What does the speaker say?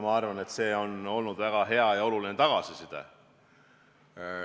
Ma arvan, et see on olnud väga hea ja oluline tagasiside.